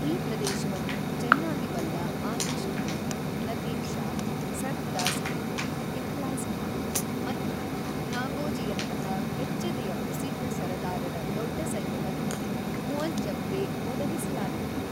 ಈ ಪ್ರದೇಶವನ್ನು ಚೆನ್ನಾಗಿ ಬಲ್ಲ ಆತಿಶ್ ಖಾನ್, ಲತೀಫ್‌ ಷಾ, ಸರ್ಫರಾಜ಼್ ಖಾನ್, ಇಖ್ಲಾಸ್ ಖಾನ್ ಮತ್ತು ನಾಗೋಜಿಯಂತಹ ಕೆಚ್ಚೆದೆಯ ಪ್ರಸಿದ್ಧ ಸರದಾರರ ದೊಡ್ಡ ಸೈನ್ಯವನ್ನು ಮುಅಜ಼್ಜಮ್‌ಗೆ ಒದಗಿಸಲಾಗಿತ್ತು.